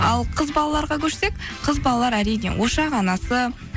ал қыз балаларға көшсек қыз балалар әрине ошақ анасы